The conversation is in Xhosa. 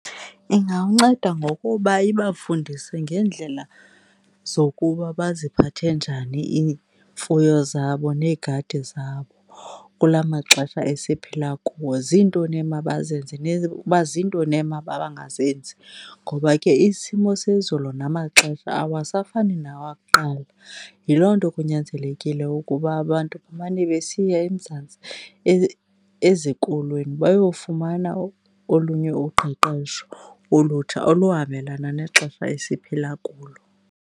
Ingawunceda ngokuba ibafundise ngeendlela zokuba baziphathe njani iimfuyo zabo neegadi zabo kula maxesha esiphila kuwo, zintoni emabazenze uba zintoni emabangazenzi, ngoba ke isimo sezulu namaxesha awasafani nawakuqala. Yiloo nto kunyanzelekile ukuba abantu bemane besiya eMzantsi ezikolweni bayofumana olunye uqeqesho olutsha oluhambelana nexesha esiphila kulo.